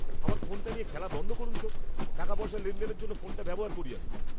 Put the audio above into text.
আমার ফোনটা নিয়ে খেলা বন্ধ করুন তো। টাকাপয়সা লেনদেনের জন্য ফোনটা ব্যবহার করি আমি।